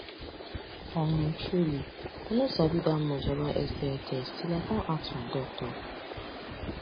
umtruely i no sabi that much about sti test till i come ask my doctor